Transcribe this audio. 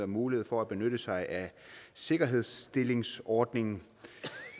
mulighed for at benytte sig af sikkerhedsstillelsesordningen